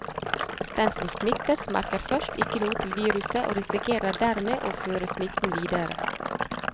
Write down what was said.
Den som smittes, merker først ikke noe til viruset og risikerer dermed å føre smitten videre.